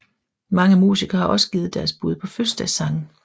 Mange musikere har også givet deres bud på fødselsdagssange